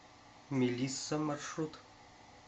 мелисса маршрут